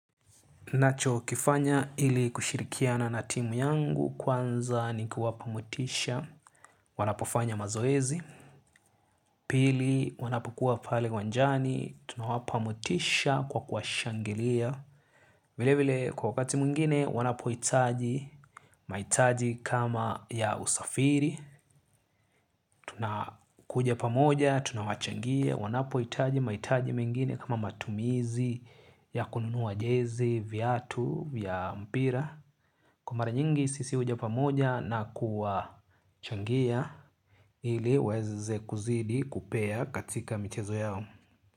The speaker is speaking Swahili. Nachokifanya ili kushirikiana na timu yangu kwanza ni kuwapa motisha. Wanapofanya mazoezi, pili wanapokuwa pale uwanjani tunawapa motisha kwa kuwashangilia. Vile vile kwa wakati mwingine wanapohitaji mahitaji kama ya usafiri. Tunakuja pamoja tunawachangia wanapohitaji mahitaji mengine kama matumizi ya kununua jezi, viatu vya mpira. Kwa mara nyingi sisi huja pamoja na kuwa changia ili waweze kuzidi kupea katika michezo yao.